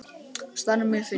Staðan er mjög fín.